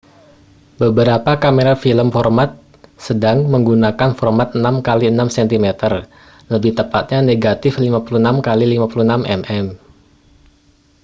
beberapa kamera film format sedang menggunakan format 6 kali 6 cm lebih tepatnya negatif 56 kali 56 mm